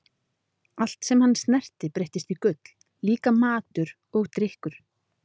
Allt sem hann snerti breyttist í gull, líka matur og drykkur.